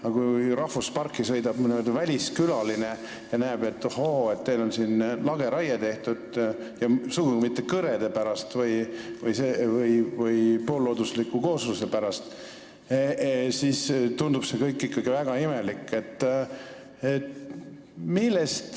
Aga kui nüüd rahvusparki sõidab väliskülaline ja näeb, et, ohoo, siin on lageraiet tehtud, kusjuures sugugi mitte kõrede või poolloodusliku koosluse pärast, siis tundub see kõik ikkagi väga imelik.